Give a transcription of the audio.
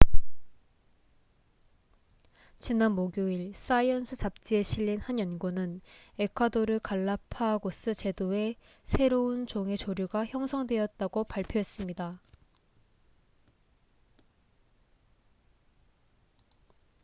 지난 목요일 사이언스 잡지에 실린 한 연구는 에콰도르 갈라파고스 제도에 새로운 종의 조류가 형성되었다고 발표했습니다